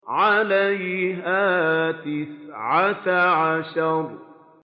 عَلَيْهَا تِسْعَةَ عَشَرَ